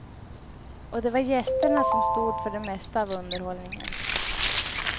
Och det var gästerna som stod för det mesta av underhållningen.